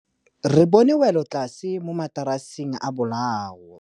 Re bone wêlôtlasê mo mataraseng a bolaô.